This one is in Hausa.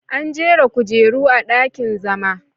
An jera kujeru a dakin zama.